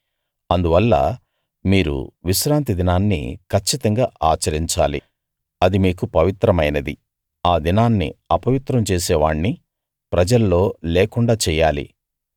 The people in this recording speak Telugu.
అందువల్ల మీరు విశ్రాంతి దినాన్ని కచ్చితంగా ఆచరించాలి అది మీకు పవిత్రమైనది ఆ దినాన్ని అపవిత్రం చేసే వాణ్ణి ప్రజల్లో లేకుండా చెయ్యాలి